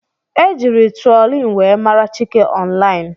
Ejiri trólin wee mara Chike ọnlain.